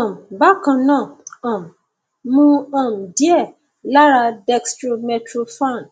um bákan náà um mu um díẹ lára dextromethorphan